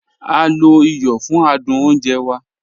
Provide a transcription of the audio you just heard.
A lo ìyọ̀ fún àdùn ọ̀nje wà.